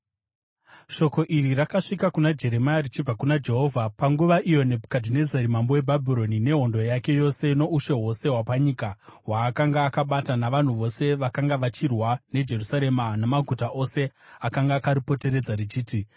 Shoko iri rakasvika kuna Jeremia richibva kuna Jehovha, panguva iyo Nebhukadhinezari mambo weBhabhironi nehondo yake yose, noushe hwose hwapanyika hwaakanga akabata, navanhu vose vakanga vachirwa neJerusarema namaguta ose akanga akaripoteredza, richiti,